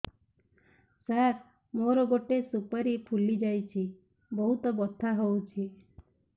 ସାର ମୋର ଗୋଟେ ସୁପାରୀ ଫୁଲିଯାଇଛି ବହୁତ ବଥା ହଉଛି